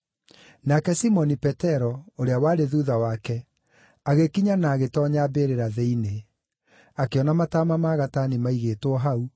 Nake Simoni Petero, ũrĩa warĩ thuutha wake, agĩkinya na agĩtoonya mbĩrĩra thĩinĩ. Akĩona mataama ma gatani maigĩtwo hau,